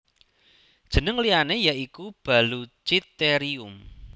Jeneng liyane ya iku Baluchitherium